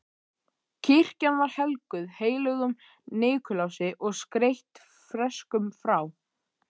Kirkjan var helguð heilögum Nikulási og skreytt freskum frá